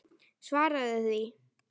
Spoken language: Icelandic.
Svaraðu því!